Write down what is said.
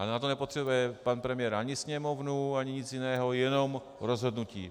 Ale na to nepotřebuje pan premiér ani Sněmovnu, ani nic jiného, jenom rozhodnutí.